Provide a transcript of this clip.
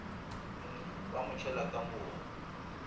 ba mo tšhela ka mobu